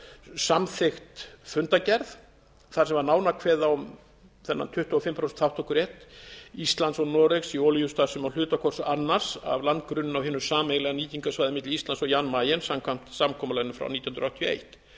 samþykkt fundargerð þar sem var nánar kveðið á um þennan tuttugu og fimm prósent þátttökurétt íslands og noregs í olíustarfsemi á hluta hvors annars af landgrunninu á hinu sameiginlega nýtingarsvæði milli íslands og jan mayen samkvæmt samkomulaginu frá nítján hundruð áttatíu